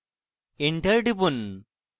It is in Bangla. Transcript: enter টিপুন